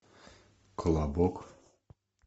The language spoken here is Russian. колобок